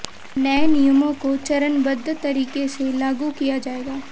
नए नियमों को चरणबद्ध तरीके से लागू किया जाएगा